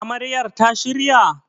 Amaryar ta shirya?